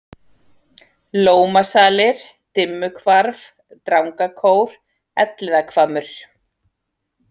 Lómasalir, Dimmuhvarf, Drangakór, Elliðahvammur